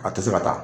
A tɛ se ka taa